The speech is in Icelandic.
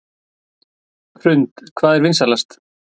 Hrund: Hvað er vinsælast?